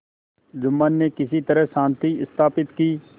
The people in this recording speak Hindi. जुम्मन ने किसी तरह शांति स्थापित की